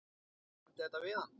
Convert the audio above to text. Ég nefndi þetta við hann.